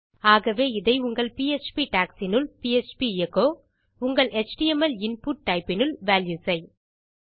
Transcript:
ஆகவே இதை உங்கள் பிஎச்பி டாக்ஸ் இனுள் பிஎச்பி எச்சோ உங்கள் எச்டிஎம்எல் இன்புட் டைப் இனுள் வால்யூஸ் ஐ